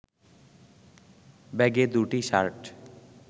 ব্যাগে দুটি শার্ট